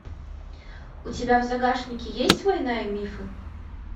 у тебя в загашнике есть война и мифы